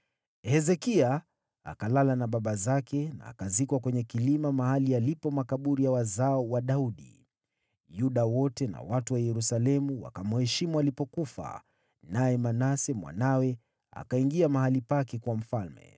Hezekia akalala na baba zake na akazikwa kwenye kilima mahali yalipo makaburi ya wazao wa Daudi. Yuda wote na watu wa Yerusalemu wakamheshimu alipofariki. Naye Manase mwanawe akawa mfalme baada yake.